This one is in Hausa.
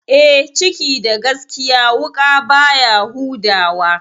E, ciki da gaskiya wuƙa baya huda wa.